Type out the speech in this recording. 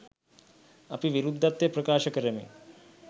අපි විරුද්ධත්වය ප්‍රකාශ කරමින්